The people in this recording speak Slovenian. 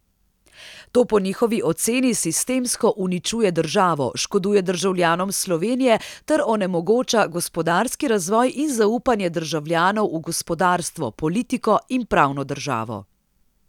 To po njihovi oceni sistemsko uničuje državo, škoduje državljanom Slovenije ter onemogoča gospodarski razvoj in zaupanje državljanov v gospodarstvo, politiko in pravno državo.